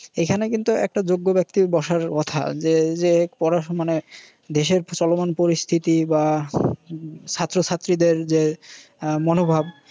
এইখানে কিন্তু একটা যোগ্য ব্যাক্তির বসার কথা যে পড়াশুনা মানে দেশের চলমান পরিস্থিতি বা ছাত্রছাত্রিদের যে হম যে মনোভাব